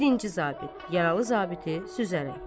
Birinci zabit yaralı zabiti süzərək.